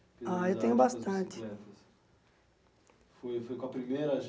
Ah eu tenho bastante E e qual primeira